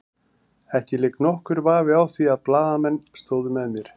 Ekki lék nokkur vafi á því að blaðamenn stóðu með mér.